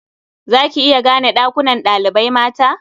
Za ki iya gane ɗakunan ɗalibai mata?